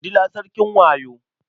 Dila sarkin wayo.